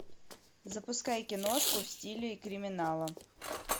запускай киношку в стиле криминала